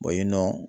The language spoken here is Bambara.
yen nɔ